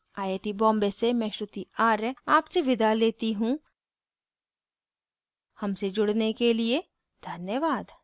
I I T Bombay से मैं श्रुति आर्य आपसे विदा लेती हूँ हमसे जुड़ने के लिए धन्यवाद